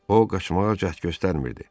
O qaçmağa cəhd göstərmirdi.